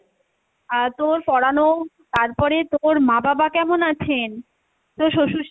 আর তোর পড়ানো তারপরে তোর মা বাবা কেমন আছেন? তোর শশুড়,